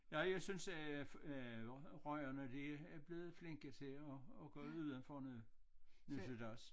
Nej jeg synes at øh rygerne de er blevet flinke til at at gå ud af af rummet det synes jeg også